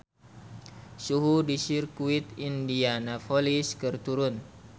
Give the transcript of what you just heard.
Suhu di Sirkuit Indianapolis keur turun